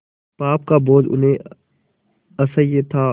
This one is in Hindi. पाप का बोझ उन्हें असह्य था